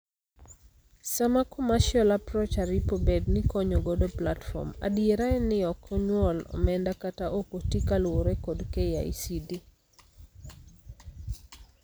Sama commercial approach aripo bedni konyo godo platform, adiera en ni ok onyuol omenda kata okotii kaluore kod KICD.